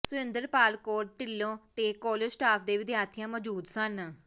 ਸੁਰਿੰਦਰਪਾਲ ਕੌਰ ਢਿੱਲੋਂ ਤੇ college staff ਤੇ ਵਿਦਿਆਰਥੀਆਂ ਮੌਜ਼ੂਦ ਸਨ